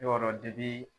Y'a dɔn